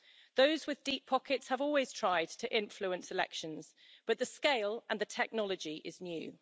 Those with deep pockets have always tried to influence elections, but the scale and the technology is new.